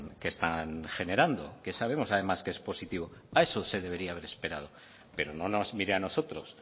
que están generando que sabemos además que es positivo a eso se debería haber esperado pero no nos mire a nosotros